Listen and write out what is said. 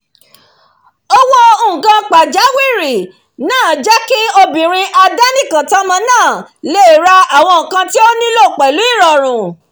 owó nǹkan pajáwìrì náà jẹ́ kí obìnrin adánìkàntọ́mọ́ náà lé ra àwọn nǹkan tí ó nílò pẹ̀lú ìrọ̀rùn